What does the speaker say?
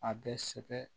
A bɛ sɛbɛn